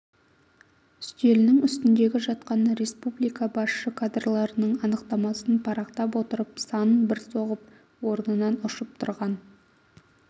үстелінің үстіндегі жатқан республика басшы кадрларының анықтамасын парақтап отырып санын бір соғып орнынан ұшып тұрған